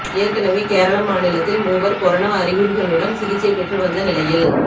ஏற்கெனவே கேரள மாநிலத்தில் மூவர் கொரோனா அறிகுறிகளுடன் சிகிச்சை பெற்று வந்த நிலையில்